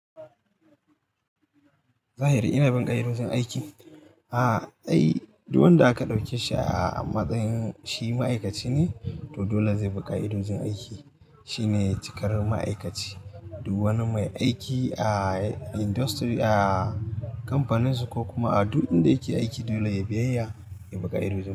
Zahiri inabin ƙai idon jin aiki? A'a, ai duk wanda aka ɗauke shi a matsayin shi ma'aikaci ne, to dole zai bi ƙa ido jin aiki. Shi ne cikar ma'aikaci duk wani mai aiki a industry, a kamfaninsu ko kuma a duk inda yake aiki dole ya biyaya, ya bi ƙa ido jin aiki.